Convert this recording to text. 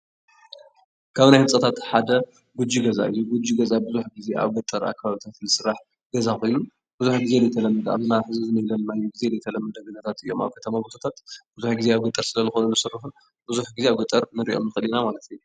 ካብ ናይ ህንፃታት ሓደ ጉጂ ገዛ እዩ፡፡ ጉጅ ገዛ ብዙሕ ጊዜ ኣብ ገጠር ኣከባቢታት ዝስራሕ ገዛ ኮይኑ ብዙሕ ጊዜ ኣብ ናይ ሕዚ ዘለናሎ ጊዜ ዘይተለመደ ገዛታት እዩም፡፡ ኣብ ከተማ ቦታታት ብዙሕ ጊዜ ዘይተለመዱ እዮም ብዙሕ ጊዜ ኣብ ገጠር ስለልኾኑ ዝስርሑ ብዙሕ ጊዜ ኣብ ገጠር ንሪኦም ንኽእል ኢና ማለት እዩ፡፡